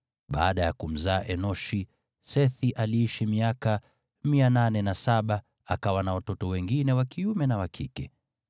Baada ya kumzaa Enoshi, Sethi aliishi miaka 807, akawa na watoto wengine wa kiume na wa kike.